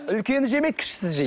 үлкені жемейді кішісі жейді